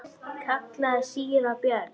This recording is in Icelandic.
kallaði síra Björn.